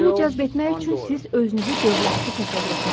Pulu cəzb etmək üçün siz özünüzü dövlətli təsəvvür etməlisiniz.